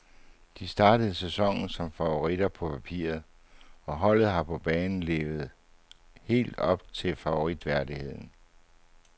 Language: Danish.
De startede sæsonen som favoritter på papiret, og holdet har på banen helt levet op til favoritværdigheden.